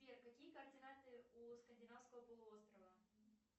сбер какие координаты у скандинавского полуострова